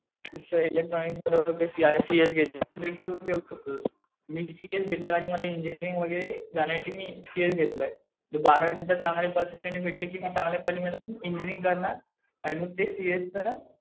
जसं इलेक्ट्रॉनिक्स बरोबर सीएस घ्यायचं. मी सीएस घेतलं आणि मला इंजिनीअरिंग वगैरे जाण्यासाठी मी सीएस घेतलंय. जर बारावी नंतर चांगले पर्सेंटेज भेटले कि मी चांगल्या कॉलेज मध्ये इंजिनीअरिंग करणार. आणि मग ते सीएसच ना